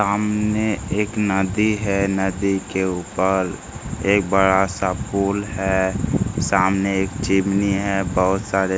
सामने एक नदी है नदी के उपर एक बड़ा सा पुल है सामने एक चिमनी है बहुत सारे --